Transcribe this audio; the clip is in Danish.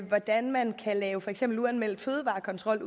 hvordan man kan lave for eksempel uanmeldt fødevarekontrol